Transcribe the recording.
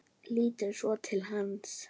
Lítur svo til hans.